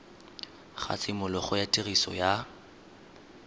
ga tshimologo ya tiriso ya